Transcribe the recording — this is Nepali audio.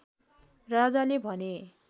राजाले भने